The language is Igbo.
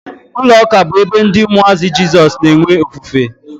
Ụlọ ụka bụ ebe ndị umuazi Jesus na-enwe ofufe